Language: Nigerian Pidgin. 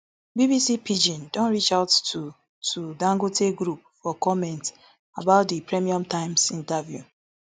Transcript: bbc pidgin don reachout to to di dangote group for comment about di premium times interview